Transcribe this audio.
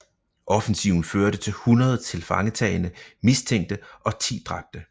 Offensiven førte til 100 tilfangetagne mistænkte og 10 dræbte